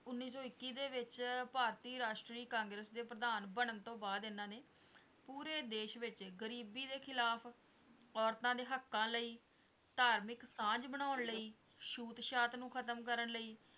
ਉਨੀ ਸੌ ਇਕੀ ਦੇ ਵਿੱਚ ਭਾਰਤੀ ਰਾਸ਼ਟਰੀ ਕਾਂਗਰਸ ਦੇ ਪ੍ਰਧਾਨ ਬਣਨ ਤੋਂ ਬਾਅਦ ਇਹਨਾਂ ਨੇ ਪੂਰੇ ਦੇਸ਼ ਵਿੱਚ ਗ਼ਰੀਬੀ ਦੇ ਖਿਲਾਫ਼, ਔਰਤਾਂ ਦੇ ਹਾਕਾਂ ਲਈ, ਧਾਰਮਿਕ ਸਾਂਝ ਬਣਾਨ ਲਈ, ਸ਼ੂਤ - ਸ਼ਾਤ ਨੂੰ ਖ਼ਤਮ ਕਰਨ ਲਈ,